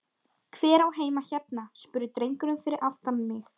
Hver á heima hérna? spurði drengurinn fyrir aftan mig?